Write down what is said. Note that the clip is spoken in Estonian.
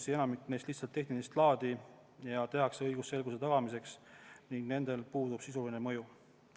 Neist enamik on lihtsalt tehnilist laadi ja tehakse õigusselguse tagamiseks ning nendel puudub sisuline mõju.